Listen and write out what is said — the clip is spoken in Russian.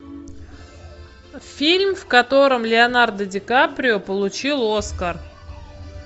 фильм в котором леонардо ди каприо получил оскар